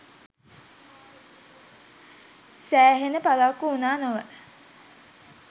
සෑහෙන පරක්කු වුණා නොවැ